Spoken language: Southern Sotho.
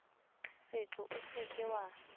seqo o se ke wa